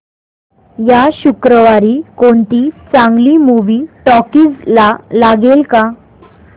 या शुक्रवारी कोणती चांगली मूवी टॉकीझ ला लागेल का